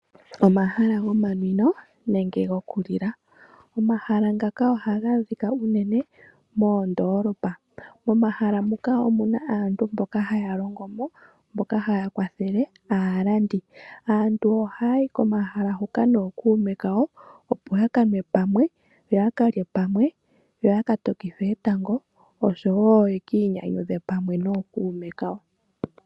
Omahala gomanwino nenge gokulila. Omahala ngaka ohaga adhika unene moondoolopa. Momahala muka omu na aantu mboka haya longo mo, mboka haya kwathele aalandi. Aantu ohaa yi komahala huka nookuume kawo, opo ya ka nwe pamwe, yo ya ka tokithe etango, yo ya ka tokithe etango.